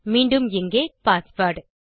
மீண்டும் இங்கே பாஸ்வேர்ட்